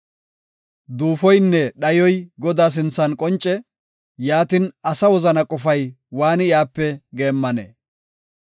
Duufoynne dhayoy Godaa sinthan qonce; yaatin, asa wozana qofay waani iyape geemmanee?